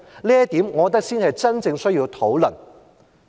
我認為這點才是真正需要討論的。